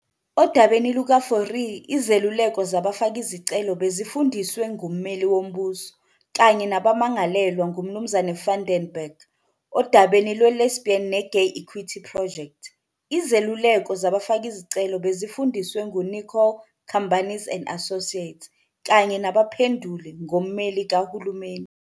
Odabeni "lukaFourie", izeluleko zabafakizicelo bezifundiswe ngummeli wombuso, kanye nabamangalelwa nguMnu van den Berg. Odabeni "lweLesbian ne-Gay Equity Project", izeluleko zabafakizicelo bezifundiswe nguNicholl, Cambanis and Associates, kanye nabaphenduli 'ngommeli kahulumeni.